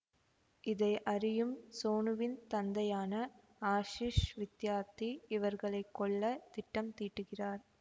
இதை அறியும் சோனுவின் தந்தையான ஆஷிஷ் வித்யார்த்தி இவர்களை கொல்ல திட்டம் தீட்டுகிறார்